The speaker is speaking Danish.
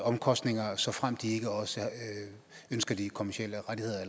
omkostninger såfremt de ikke også ønsker de kommercielle rettigheder